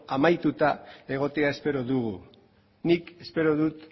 amaituta egotea espero dugu nik espero dut